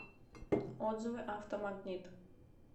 отзывы автомагнит